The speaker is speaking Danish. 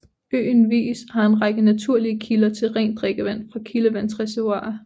Øen Vis har en række naturlige kilder til rent drikkevand fra kildevandsreservoirer